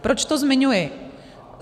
Proč to zmiňuji?